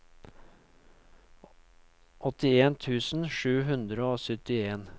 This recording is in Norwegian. åttien tusen sju hundre og syttien